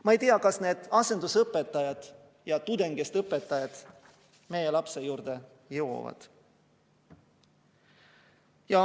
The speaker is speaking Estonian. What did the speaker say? Ma ei tea, kas need asendusõpetajad ja tudengitest õpetajad meie lapse juurde jõuavad.